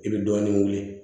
I bɛ dɔɔnin wele